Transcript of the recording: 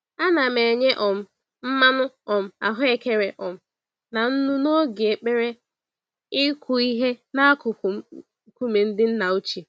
Ana m enye um mmanụ um ahụekere um na nnu n'oge ekpere ịkụ ihe n'akụkụ nkume ndị nna ochie.